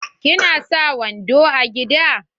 Ki na sa wando a gida?